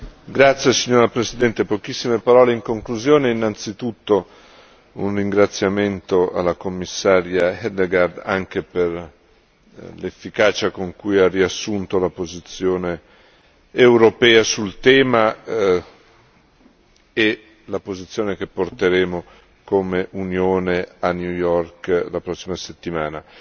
Signora Presidente, onorevoli deputati, pochissime parole in conclusione. Innanzitutto un ringraziamento al Commissario Hedegaard, anche per l'efficacia con cui ha riassunto la posizione europea sul tema e la posizione che porteremo come Unione a New York la prossima settimana.